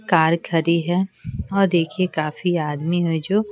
car खड़ी है और देखिए काफी आदमी है जो --